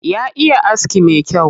Ya iya aski me kyau.